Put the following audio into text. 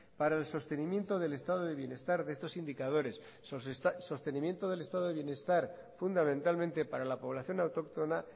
para el sostenimiento del estado de bienestar de estos indicadores sostenimiento del estado de bienestar fundamentalmente para la población autóctona